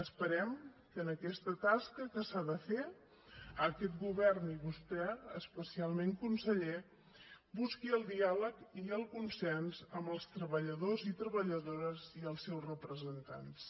esperem que en aquesta tasca que s’ha de fer aquest govern i vostè especialment conseller busquin el diàleg i el consens amb els treballadors i treballadores i els seus representants